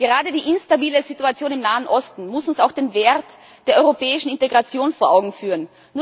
Gerade die instabile Situation im Nahen Osten muss uns auch den Wert der europäischen Integration vor Augen führen.